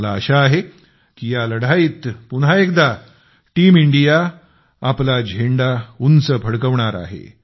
मला आशा आहे की या लढाईत पुन्हा एकदा टीम इंडिया आपला झेंडा उंच फडकवणार आहे